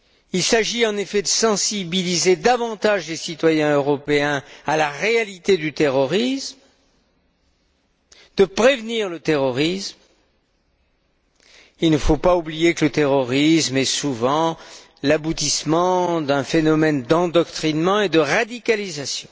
Il s'agit en effet de sensibiliser davantage les citoyens européens à la réalité du terrorisme, de prévenir le terrorisme. Il ne faut pas oublier que le terrorisme est souvent l'aboutissement d'un phénomène d'endoctrinement et de radicalisation.